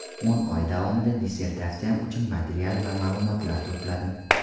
O‘n oy davomida dissertatsiyam uchun material va ma’lumotlar to‘pladim.